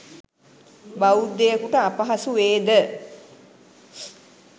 බෞද්ධයෙකුට අපහසු වේ ද?